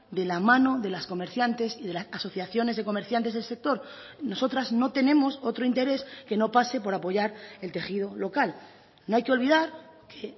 de la mano de las comerciantes y de las asociaciones de comerciantes del sector nosotras no tenemos otro interés que no pase por apoyar el tejido local no hay que olvidar que